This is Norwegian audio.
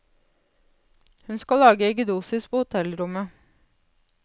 Hun skal lage eggedosis på hotellrommet.